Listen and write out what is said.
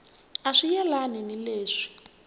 a swi yelani ni leswi